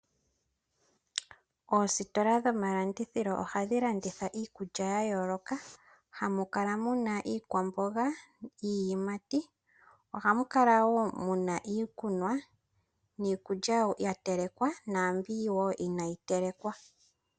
Oositola dhomalandithilo ohadhi landitha iikulya ya yooloka, hamu kala muna iikwamboga, iiyimati. Ohamu kala wo mu na iikunwa niikulya ya telekwa naambi wo inaayi telekwa.